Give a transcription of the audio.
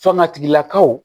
Sɔnna tigilakaw